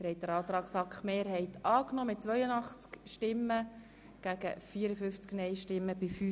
Sie haben dem Antrag Regierungsrat und SAK-Mehrheit den Vorzug gegeben.